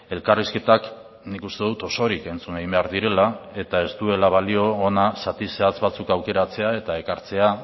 elkarrizketak nik uste dut osorik entzun egin behar direla eta ez duela balio hona zati zehatz batzuk aukeratzea eta ekartzea